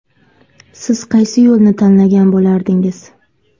Siz qaysi yo‘lni tanlagan bo‘lardingiz?